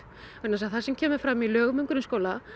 vegna þess að það sem kemur fram í lögum um grunnskóla